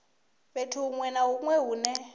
fhethu huṅwe na huṅwe hune